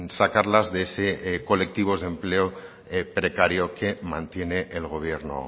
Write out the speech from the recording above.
sacarlas de ese colectivos de empleo precario que mantiene el gobierno